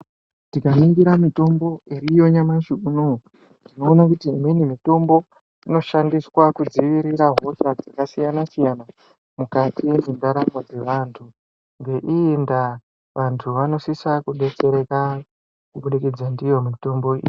Tikaringira mitombo iriyo nyamushi unowo tinoona kuti imweni mitombo inoshandiswa kudzirira hosha dzakasiyana siyana mukati mwendaramu dze vantu ngeiyi ndaa vantu vanosisa kudetsereka ndiyo mitombo.